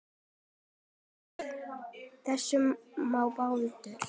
Út af. þessu með Baldur?